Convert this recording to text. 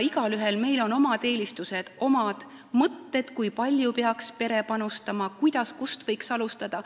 Igaühel meil on omad eelistused ja omad mõtted, kui palju peaks pere panustama, kuidas ja kust võiks alustada.